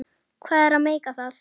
Hvað er að meika það?